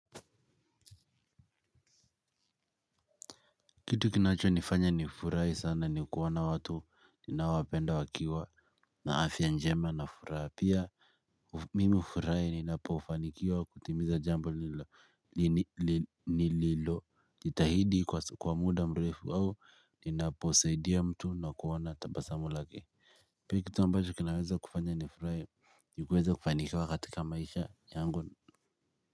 Kitu kinachonifanya nifurahi sana ni kuona watu ninaowapenda wakiwa na afya njema na furaha pia. Mimi hufurahi ninapofanikiwa kutimiza jambo ni lilo. Jitahidi kwa muda mrefu au ninaposaidia mtu na kuona tabasamu lake. Pia kitu ambacho kinaweza kufanya nifurahi ni kuweza kufanikiwa katika maisha yangu.